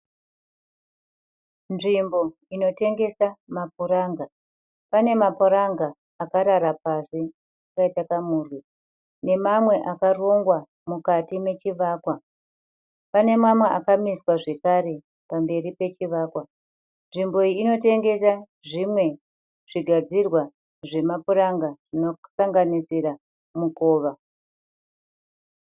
Nzvimbo inotengesa mapuranga. Pane mapuranga akarara pasi akaita kamurwi nemamwe akarongwa mukati mechivakwa. Pane mamwe akamiswa zvekare pamberi pechivakwa. Nzvimbo iyi inotengesa zvimwe zvigadzirwa zvemapuranga zvinosanganisira mikova.